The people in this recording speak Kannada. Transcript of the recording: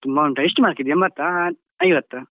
ತುಂಬ ಉಂಟಾ? ಎಷ್ಟು mark ದ್ದು ಎಂಬತ್ತಾ ಐವತ್ತಾ?